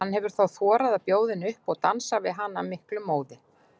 Hann hefur þá þorað að bjóða henni upp og dansar við hana af miklum móði.